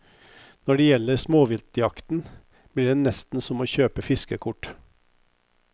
Når det gjelder småviltjakten, blir det nesten som å kjøpe fiskekort.